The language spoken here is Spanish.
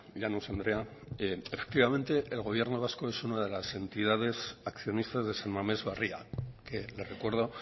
llanos andrea efectivamente el gobierno vasco es una de las entidades accionistas de san mames barria que le recuerdo